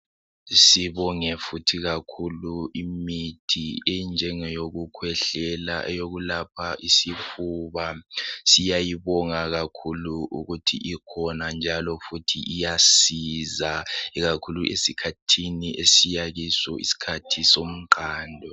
Sibonge futhi kakhulu imithi enjengeyokukhwehlela, eyokulapha isifuba. Siyayibonga kakhulu ukuthi ikhona njalo futhi iyasiza ikakhulu esikhathini esiya kuso isikhathi somqando.